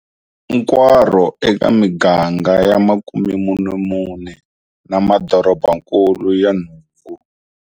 Nkwaro, eka miganga ya 44 na madorobakulu ya nhungu.